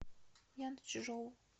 янчжоу